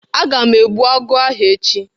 Aga m egbu agụ ahụ echi.